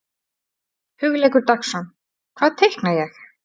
Hugleikur Dagsson: Hvað teikna ég?